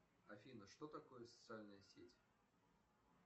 афина что такое социальная сеть